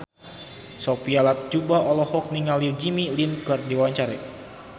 Sophia Latjuba olohok ningali Jimmy Lin keur diwawancara